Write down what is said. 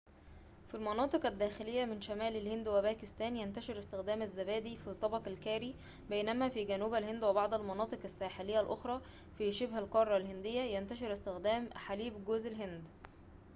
في المناطق الداخلية من شمال الهند وباكستان ينتشر استخدام الزبادي في طبق الكاري بينما في جنوب الهند وبعض المناطق الساحلية الأخرى في شبه القارة الهندية ينتشر استخدام حليب جوز الهند